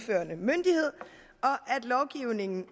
lovgivningen